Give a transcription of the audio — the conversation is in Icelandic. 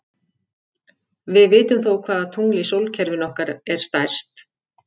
Við vitum þó hvaða tungl í sólkerfinu okkar er stærst.